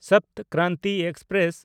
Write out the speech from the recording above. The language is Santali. ᱥᱚᱯᱛ ᱠᱨᱟᱱᱛᱤ ᱮᱠᱥᱯᱨᱮᱥ